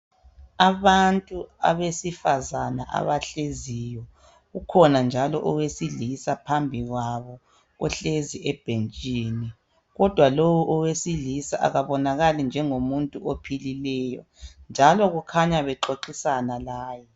Abantu abesifazane abahleziyo. Ukhona njalo owesilisa phambi kwabo ohleziyo ebhentshini. Kodwa lo owesilisa akabonakali njengomuntu ophilileyo, njalo kukhanya bexoxisana laye.